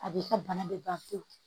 A b'i ka bana bɛ ban pewu